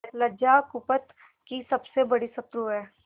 लज्जा कुपथ की सबसे बड़ी शत्रु है